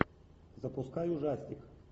запускай ужастик